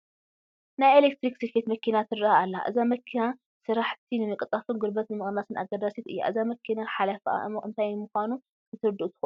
ናይ ኤለክትሪክ ስፌት መኪና ትርአ ኣላ፡፡ እዛ መኪና ስራሕቲ ንምቅልጣፍን ጉልበት ንምቕናስን ኣገዳሲት እያ፡፡ እዛ መኪና ሓለፍኣ እንይ ምዃኑ ክተረድኡ ትኽእሉ ዶ?